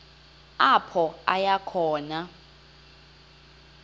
apho aya khona